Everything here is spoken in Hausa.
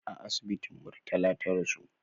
A asibitin murtala ta rasu